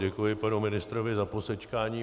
Děkuji panu ministrovi za posečkání.